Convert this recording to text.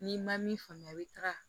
N'i ma min faamuya i taga